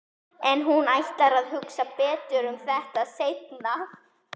En hún ætlar að hugsa betur um þetta seinna.